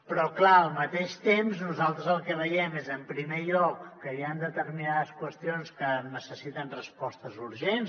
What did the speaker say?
però clar al mateix temps nosaltres el que veiem és en primer lloc que hi han determinades qüestions que necessiten respostes urgents